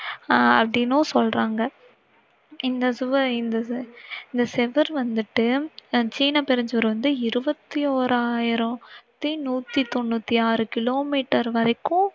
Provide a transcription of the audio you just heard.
அஹ் அப்படினும் சொல்லறாங்க இந்த சுவ~இந்த சுவர் வந்திட்டு சீன பெருஞ்சுவார் வந்து இருபத்தி ஓராயிரத்தி நூற்றி தொண்ணூற்று ஆறு கிலோ மீட்டர் வரைக்கும்